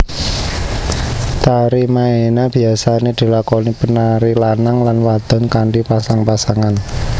Tari maena biyasané dilakoni penari lanang lan wadon kanthi pasang pasangan